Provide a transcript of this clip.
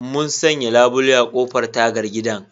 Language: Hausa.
Mun sanya labule a ƙofar ko tagar gidan